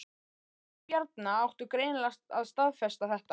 Orð Bjarna áttu greinilega að staðfesta þetta